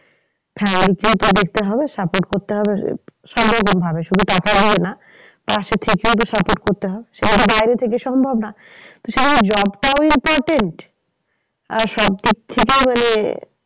হ্যাঁ দেখতে হবে support করতে হবে। সব রকম ভাবে শুধু টাকা বলে না পাশে থেকেও যে support করতে হয়। যেহেতু বাইরে থেকে সম্ভব না। তো সেইজন্য job টাও important আর সব দিক থেকে মানে